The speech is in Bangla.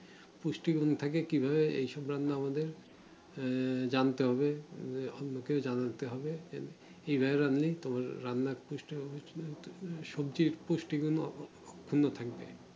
পুষ্টিগুণ থাকে এই সব রান্নায় সেটা আমাদের জানতে হবে সবজির পুষ্টিগুলো রান্নার পুষ্টিগুণ ভালো থাকবে